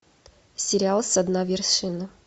сериал со дна вершины